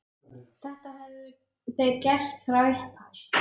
Þetta höfðu þeir gert frá upphafi